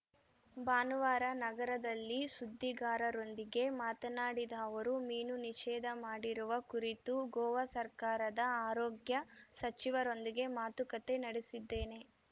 ಭಾನುವಾರ ನಗರದಲ್ಲಿ ಸುದ್ದಿಗಾರರೊಂದಿಗೆ ಮಾತನಾಡಿದ ಅವರು ಮೀನು ನಿಷೇಧ ಮಾಡಿರುವ ಕುರಿತು ಗೋವಾ ಸರ್ಕಾರದ ಆರೋಗ್ಯ ಸಚಿವರೊಂದಿಗೆ ಮಾತುಕತೆ ನಡೆಸಿದ್ದೇನೆ